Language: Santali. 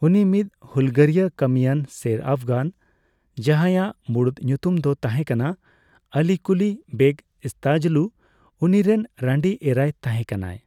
ᱩᱱᱤ ᱢᱤᱫ ᱦᱩᱞᱜᱟᱹᱨᱤᱭᱟᱹ ᱠᱟᱹᱢᱤᱭᱟᱱ ᱥᱮᱨ ᱟᱯᱷᱜᱟᱱ ᱾ ᱡᱟᱸᱦᱟᱭᱟᱜ ᱢᱩᱲᱩᱫ ᱧᱩᱛᱩᱢ ᱫᱚ ᱛᱟᱸᱦᱮ ᱠᱟᱱᱟ ᱟᱞᱤ ᱠᱩᱞᱤ ᱵᱮᱜ ᱤᱥᱛᱟᱡᱚᱞᱩ; ᱩᱱᱤᱨᱮᱱ ᱨᱟᱸᱰᱤ ᱮᱨᱟᱭ ᱛᱟᱸᱦᱮ ᱠᱟᱱᱟᱭ ᱾